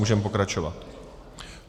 Můžeme pokračovat.